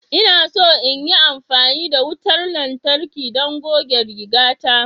Ina so in yi amfani da wutar lantarki don goge rigata.